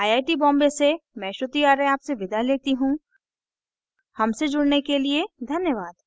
I I T Bombay से मैं श्रुति आर्य आपसे विदा लेती हूँ हमसे जुड़ने के लिए धन्यवाद